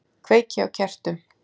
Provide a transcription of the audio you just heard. Kveiki á kertum.